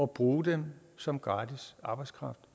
bruger dem som gratis arbejdskraft